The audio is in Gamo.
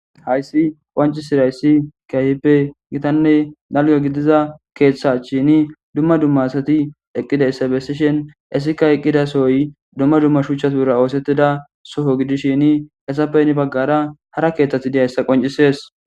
Hayssi qoncisirayssi kiayhippe gitanne dalyo gidiza keeththachshini dumma dumma asati eqqida issabessishin esikka eqqida sohoy dumma dumma shucha tuura oosettida soho gidishin esappeyni baggara hara keeththati deyayssa qoncisees.